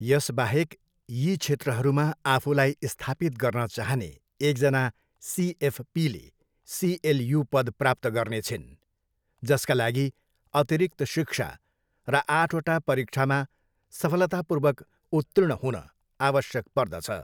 यसबाहेक यी क्षेत्रहरूमा आफूलाई स्थापित गर्न चाहने एकजना सिएफपीले सिएलयू पद प्राप्त गर्नेछिन्, जसका लागि अतिरिक्त शिक्षा र आठवटा परीक्षामा सफलतापूर्वक उत्तीर्ण हुन आवश्यक पर्दछ।